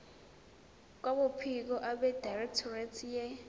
kwabophiko abedirectorate ye